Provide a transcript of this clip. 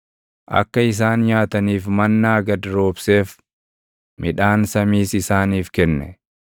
akka isaan nyaataniif mannaa gad roobseef; midhaan samiis isaaniif kenne.